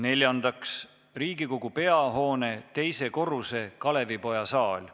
Neljandaks, Riigikogu peahoone teisel korrusel asuv Kalevipoja saal.